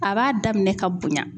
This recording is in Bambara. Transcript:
A b'a daminɛ ka bonya.